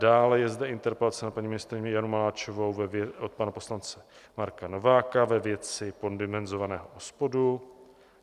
Dále je zde interpelace na paní ministryni Janu Maláčovou od pana poslance Marka Nováka ve věci poddimenzovaného OSPODu.